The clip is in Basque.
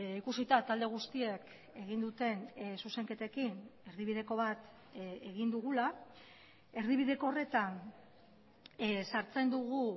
ikusita talde guztiek egin duten zuzenketekin erdibideko bat egin dugula erdibideko horretan sartzen dugu